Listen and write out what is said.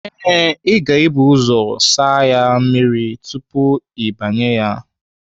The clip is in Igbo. Ee, ị ga-ebu ụzọ asa ya mmiri tupu gị abanye ya.